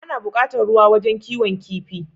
Ana bukatar ruwa wajan kiwon kifi